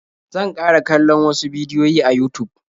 Zan ƙara kallon wasu bidiyoyin a Yutub.